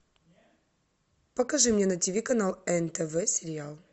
покажи мне на тиви канал нтв сериал